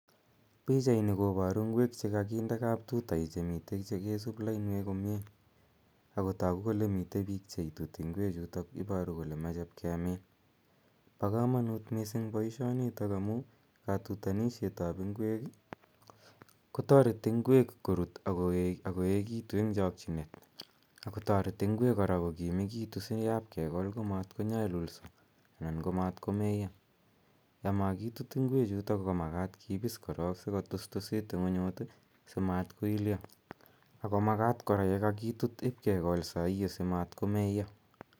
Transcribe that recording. Pichaini koparu ngwek che mitei che kakinde kaptuta che mitei che kesup lainwek komye. Ako tagu kole mitei piik che ituti ngwechutok. Iparu kole mache ip kemin. Pa kamanut missing' poishonitok amu katutanishet ap ngwek ko tareti ngwek korut ak koekitu eng' chakchinet. Ako tareti kora ngwek ko kimekitu si yapkekol ko mat konyalulso anan ko matkomeyo. Amakitut ngwechutok ko makat kipis korok asikotustusit ing'unyut ako si mat ko ilyo. Ako makat kora ye kakitut ip kekol saa hio si matkobmeyo.